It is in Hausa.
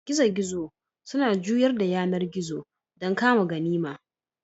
Gizo-gizo suna juyar da yanar gizo don kama ganima.